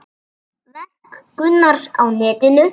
Verk Gunnars á netinu